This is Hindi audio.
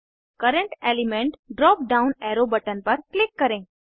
current element drop down arrow button पर क्लिक करें